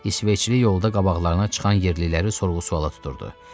İsveçli yolda qabaqlarına çıxan yerliləri sorğu-sualla tuturdu.